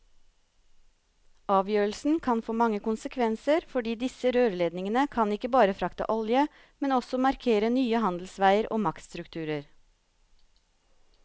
Avgjørelsen kan få mange konsekvenser, fordi disse rørledningene kan ikke bare frakte olje, men også markere nye handelsveier og maktstrukturer.